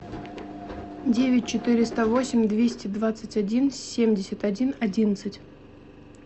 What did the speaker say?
девять четыреста восемь двести двадцать один семьдесят один одиннадцать